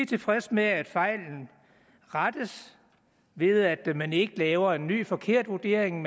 tilfredse med at fejlen rettes ved at man ikke laver en ny forkert vurdering